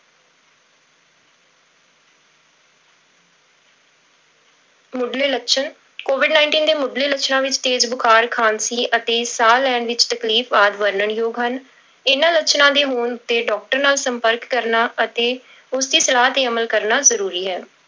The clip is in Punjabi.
ਮੁੱਢਲੇ ਲੱਛਣ covid nineteen ਦੇ ਮੁੱਢਲੇ ਲੱਛਣਾਂ ਵਿੱਚ ਤੇਜ਼ ਬੁਖਾਰ, ਖ਼ਾਂਸੀ ਅਤੇ ਸਾਹ ਲੈਣ ਵਿੱਚ ਤਕਲੀਫ਼ ਆਦਿ ਵਰਣਨ ਯੋਗ ਹਨ, ਇਹਨਾਂ ਲੱਛਣਾਂ ਦੇ ਹੋਣ ਤੇ doctor ਨਾਲ ਸੰਪਰਕ ਕਰਨਾ ਅਤੇ ਉਸਦੀ ਸਲਾਹ ਤੇ ਅਮਲ ਕਰਨਾ ਜ਼ਰੂਰੀ ਹੈ।